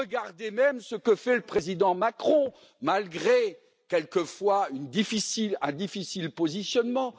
Regardez même ce que fait le président Macron, malgré quelquefois un difficile positionnement!